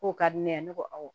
K'o ka di ne ye ne ko awɔ